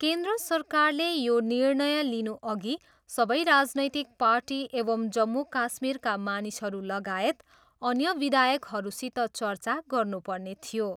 केन्द्र सरकारले यो निर्णय लिनुअघि सबै राजनैतिक पार्टी एवं जम्मू काश्मीरका मानिसहरू लागायत अन्य विधायकहरूसित चर्चा गर्नुपर्ने थियो।